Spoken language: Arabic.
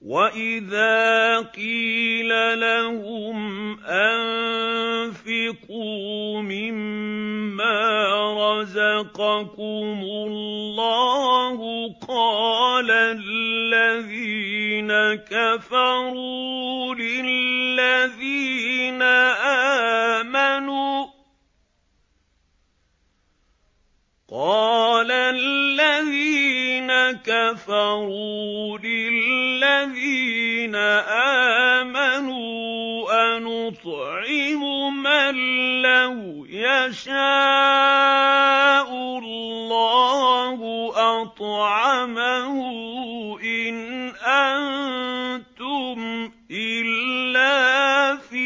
وَإِذَا قِيلَ لَهُمْ أَنفِقُوا مِمَّا رَزَقَكُمُ اللَّهُ قَالَ الَّذِينَ كَفَرُوا لِلَّذِينَ آمَنُوا أَنُطْعِمُ مَن لَّوْ يَشَاءُ اللَّهُ أَطْعَمَهُ إِنْ أَنتُمْ إِلَّا فِي